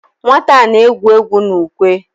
Nwata a na-egwu egwu na ukwe?